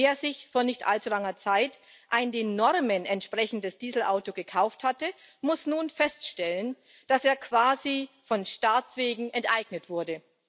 Denn wer sich vor nicht allzu langer Zeit ein den Normen entsprechendes Dieselauto gekauft hatte, muss nun feststellen, dass er quasi von Staats wegen enteignet wurde.